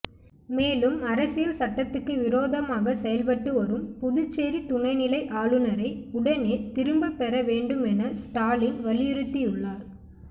மேலும் அரசியல் சட்டத்துக்கு விரோதமாக செயல்பட்டு வரும் புதுச்சேரி துணைநிலை ஆளுநரை உடனே திரும்பப்பெற வேண்டும் என ஸ்டாலின் வலியுறுத்தியுள்ளார்